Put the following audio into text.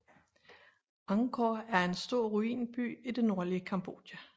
Angkor er en stor ruinby i det nordlige Cambodja